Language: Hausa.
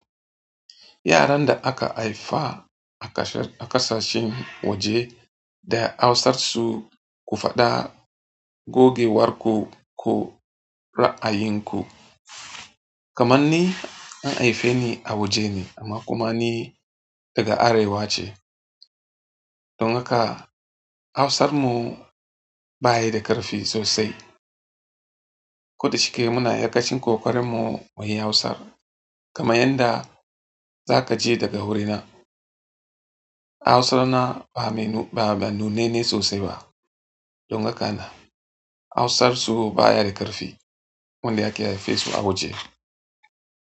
Yaran da aka haifa a ƙasashen waje da Hausar su ku faɗa gogewar ku ko ra'ayin ku. Kamanni an haife ni a waje ne amma kuma ni daga Arewa ce. Don haka Hausar mu ba yi da ƙarfi sosai. Ko da shike muna iyakacin ƙoƙarinmu muyi hausa kaman yanda za kaje daga wurina hausana ba mai ba nunanne sosai ba don haka na Hausar su ba ya da ƙarfi. Wanda aka haife su a waje.